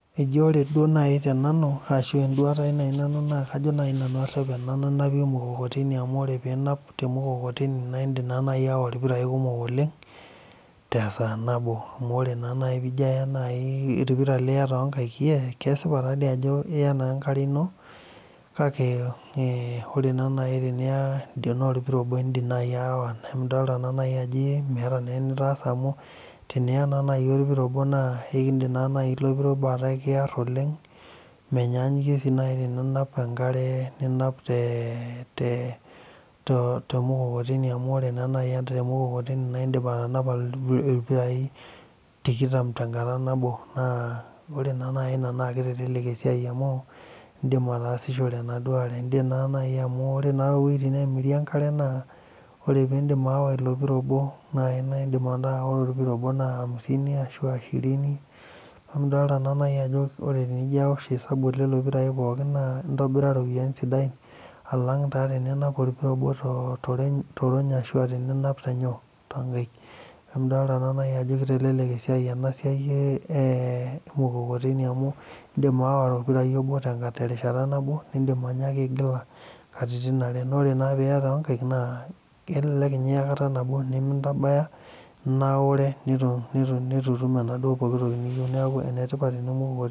Eji ore duo naaji tenanu ashuu ore duo eduata kajo naaji nanu arep enapata emukokoteni amu teninap temukokoteni naa indiim naaji aawa irpirai kumok oleng tesaa nabo amu ore naaji peijio aya orpira toonkaik kesipa taadoi ajo iya naa enkare ino kake ore naa naaji teniya tenaa orpira obo indiim naaji aawa naa idolita ajo meeta enitaasa amu teniya naaa naaji orpira obo naa ekindim naaji ilo pira ataa ekiar oleng menyaanyukie sii naaji teninap enkare ninap te mukokoteni amu ore naa naaji temukokoteni naidiip atanapa irpirai tikitam tenkata nabo naa ore naaa naaji ina naa keitelelek esiai amu indiim ataasishore enaduo aare indiim naa naaji amu ore toowuejitin naamiri enkare naa ore peeindim aawa ilo pira obo naaa amisini ashua Shirini neeku idolita naa naaji ajo ore peijio awosh osabu leelelo pirai pooki naa intonira iropiyiani sidain alang teninap orpira obo torony ashua teninap tenyoo tonkai neeku idolita ajo keitelelek esiai ena siai e emukokoteni amu indiim aawa orpira obo terishata nabo nindiim aawa katitin are ore naa peeiya toonkaik naa kelelek ninye iya kata nabo neme ntabaya naure netutum enaduo toki niyieu neeku enetipat emukokoteni.